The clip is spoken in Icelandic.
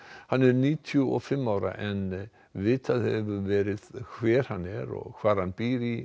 hann er níutíu og fimm ára en vitað hefur verið hver hann er og hvar hann býr í